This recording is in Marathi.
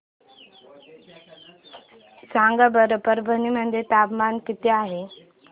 सांगा बरं परभणी मध्ये तापमान किती आहे